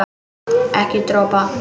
Ekki dropa.